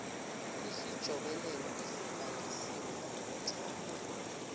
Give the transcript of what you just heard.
isijobelelo esibhalisiwe ngokuthanda